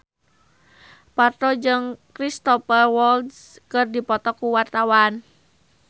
Parto jeung Cristhoper Waltz keur dipoto ku wartawan